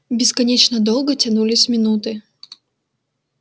бесконечно долго тянулись минуты